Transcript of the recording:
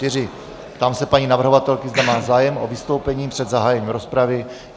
Ptám se paní navrhovatelky, zda má zájem o vystoupení před zahájením rozpravy.